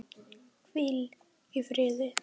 Hvíl í fríði.